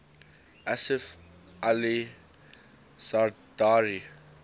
asif ali zardari